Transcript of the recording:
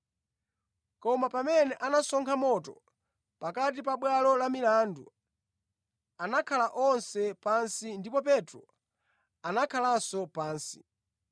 Koma pamene anasonkha moto pakati pa bwalo la milandu, anakhala onse pansi ndipo Petro anakhalanso pansi.